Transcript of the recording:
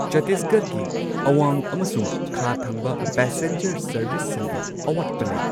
ꯆꯇꯤꯁꯒꯔꯒꯤ ꯑꯋꯥꯡ ꯑꯃꯁꯨꯡ ꯈꯥ ꯊꯪꯕ ꯄꯦꯁꯦꯟꯖꯔ ꯁꯔꯚꯤꯁꯁꯤꯡꯒꯤ ꯑꯋꯥꯠꯄ ꯂꯩ꯫